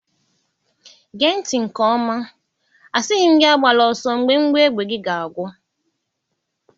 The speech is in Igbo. Gee ntị inke oma, asighi m gị agbala oso mgbe mgbọ égbè gị ga agwụ.